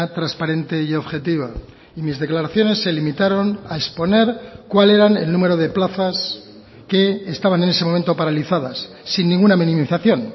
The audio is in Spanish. transparente y objetiva y mis declaraciones se limitaron a exponer cuál eran el número de plazas que estaban en ese momento paralizadas sin ninguna minimización